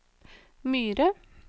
Myre